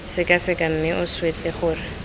sekaseka mme a swetse gore